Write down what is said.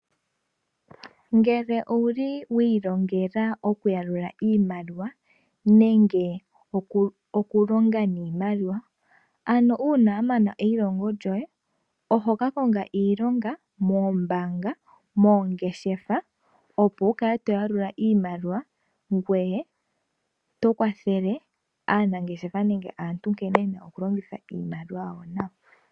Ngele owuli wa ilongela okuyalula iimaliwa nenge okulonga niimaliwa, ano uuna wa mana eilongo lyoye oho ka konga iilongo moombaanga nomoongeshefa. Opo wu kale to yalula iimaliwa ngoye to kwathele aanangeshefa nenge aantu nkene yena okulongitha iimaliwa yawo nawa.